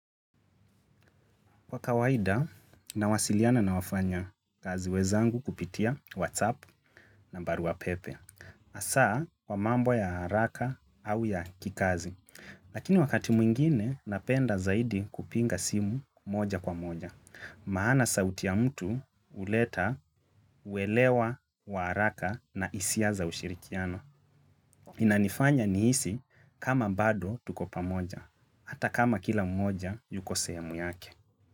Kwa kawaida, nawasiliana na wafanya kazi wezangu kupitia WhatsApp na barua pepe. Hasaa, kwa mambo ya haraka au ya kikazi. Lakini wakati mwingine, napenda zaidi kupinga simu moja kwa moja. Maana sauti ya mtu huleta, uelewa, wa haraka na hisia za ushirikiano. Inanifanya nihisi kama bado tuko pamoja. Hata kama kila mmoja yuko sehemu yake.